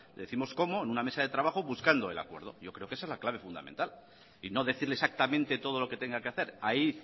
décimos cómo en una mesa de trabajo buscando el acuerdo yo creo que esa es la clave fundamental y no decirle exactamente todo lo que tenga que hacer ahí